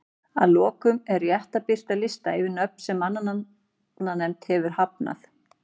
Að lokum er rétt að birta lista yfir nöfn sem mannanafnanefnd hefur hafnað.